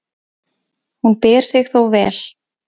Hún ber sig þó vel.